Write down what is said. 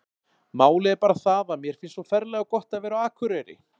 Málið er bara það að mér finnst svo ferlega gott að vera á Akureyri.